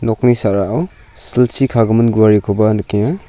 nokni sa·rao silchi kagimin guarekoba nikenga.